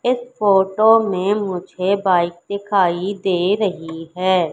इस फोटो में मुझे बाइक दिखाई दे रही है।